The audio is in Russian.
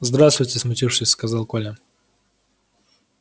здравствуйте смутившись сказал коля